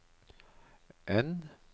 N